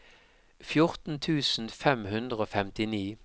fjorten tusen fem hundre og femtini